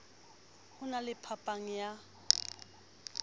ho na le phapang ya